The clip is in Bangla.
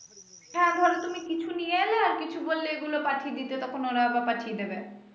হ্যা ধরো তুমি কিছু নিয়ে এলে আর কিছু বললে এগুলো পাঠিয়ে দিতে তখন ওরা আবার পাঠিয়ে দিবে।